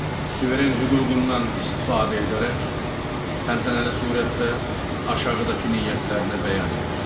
suveren hüququndan istifadə edərək, təntənəli surətdə aşağıdakı niyyətlərini bəyan edir.